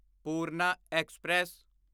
Purna express